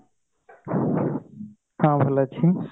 ହଁ ଭଲ ଅଛି